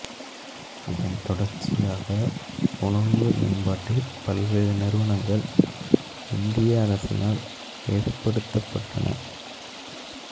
இதன் தொடர்ச்சியாக உணவு மேம்பாட்டில் பல்வேறு நிறுவனங்கள் இந்திய அரசினால் ஏற்படுத்தப்பட்டன